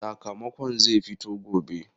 Sakamakon zai fito gobe.